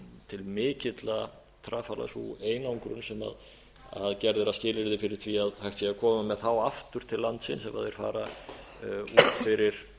til mikilla trafala sú einangrun sem gerð er að skilyrði fyrir því að hægt sé að koma með þá aftur til landsins ef þeir fara út fyrir